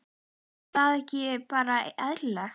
Er það ekki bara eðlilegt?